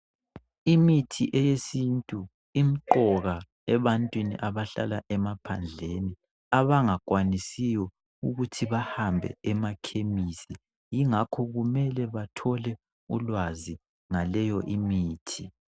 Imithi yesintu imqoka ebantwini abahlala emaphandleni abangakwanisiyo ukuthi behambe emakhemisi ingakho kunele bathole ulwazi ngaleyo imithi.